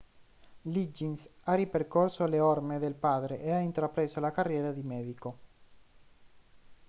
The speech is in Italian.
liggins ha ripercorso le orme del padre e ha intrapreso la carriera di medico